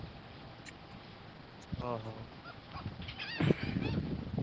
ହଉ ଦେଖିବା ଆଉ ଯିବା କେବେ ନହେଲେ date fix କରିକି।